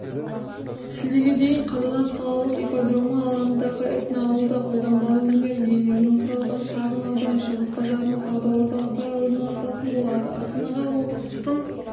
шілдеге дейін қазанат қалалық ипподромы алаңындағы этноауылда қолданбалы өнер иелерінен құралған шағын аудан шығыс базарының сауда орталықтары орналасатын болады астанаға облыстың